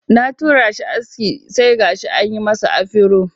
Na tura shi aske sai gashi an yi masa afiro